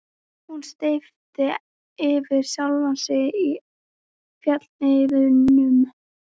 Hún steyptist yfir sjálfa sig í fjallshlíðunum.